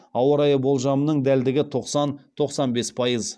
ауа райы болжамының дәлдігі тоқсан тоқсан бес пайыз